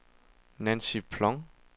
Nancy Ploug